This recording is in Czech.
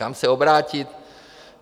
Kam se obrátit?